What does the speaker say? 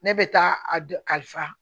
Ne bɛ taa a dɔ kalifa